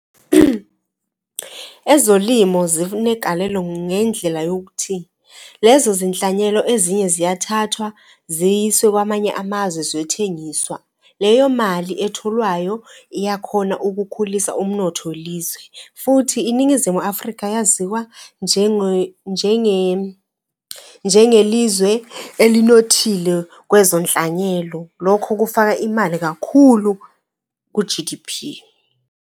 Ezolimo zinegalelo ngendlela yokuthi lezo zinhlanyelo ezinye ziyathathwa ziyise kwamanye amazwe ziyothengiswa. Leyo mali etholwayo iyakhona ukukhulisa umnotho , futhi iNingizimu Afrika yaziwa njengelizwe elinothile kwezonhlanyelo. Lokho kufaka imali kakhulu ku-G_D_P.